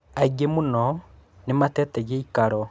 Aingĩ muno nĩmatete gĩikaro.